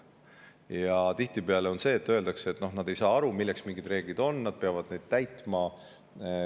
Ja tihtipeale öeldakse, et nad ei saa aru, milleks mingid reeglid on, nad peavad neid täitma.